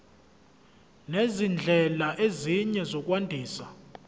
nezindlela ezinye zokwandisa